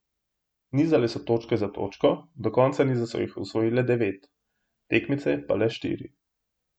Nizale so točke za točko, do konca niza so jih osvojile devet, tekmice pa le štiri.